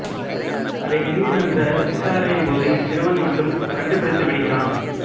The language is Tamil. அதை நீதிமன்ற விசாரனையின் போது இச்சிறுவன் மட்டும் கண்டுபிடித்து விடுகிறான்